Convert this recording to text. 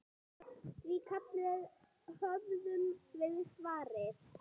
Því kalli höfum við svarað.